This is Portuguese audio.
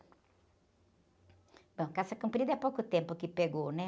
Bom, calça comprida é há pouco tempo que pegou, né?